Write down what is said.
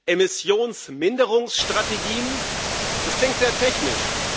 Emissionsminderungsstrategien das klingt sehr technisch